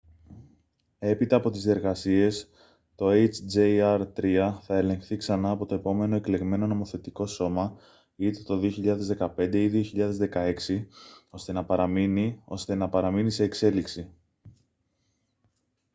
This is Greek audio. έπειτα από τις διεργασίες το hjr-3 θα ελεγχθεί ξανά από το επόμενο εκλεγμένο νομοθετικό σώμα είτε το 2015 ή 2016 ώστε να παραμείνει ώστε να παραμείνει σε εξέλιξη